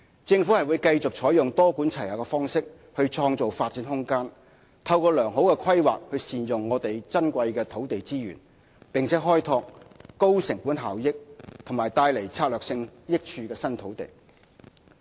政府會繼續採用多管齊下的方式創造發展空間，透過良好的規劃善用我們珍貴的土地資源，並開拓高成本效益和帶來策略性益處的新土地。